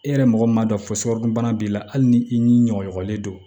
E yɛrɛ mɔgɔ m'a dɔn fokuru bana b'i la hali ni i ni ɲɔgɔɲɔgɔnin don